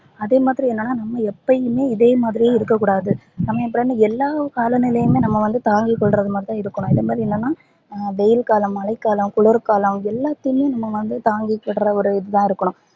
அதே மாதிரி என்னனா நம்ப எப்பையுமே இதே மாதிரியே இருக்க கூடாது நம்ப எல்லா காலநிலையையும் நம்ப வந்து தாங்கி கொல்றது மாதிரிதா இருக்கணும் அந்த மாதிரி இல்லனா வெயில் காலம் மழை காலம் குளிர் காலம் எல்லாத்தையும் நம்ப வந்து தாங்கிகின்ற ஒரு இதுவா இருக்கணும்